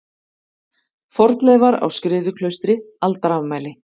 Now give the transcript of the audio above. Fornleifar á Skriðuklaustri Aldarafmæli.